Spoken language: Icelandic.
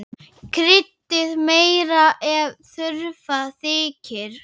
Kryddið meira ef þurfa þykir.